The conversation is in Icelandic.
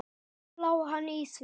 Þar lá hann í því!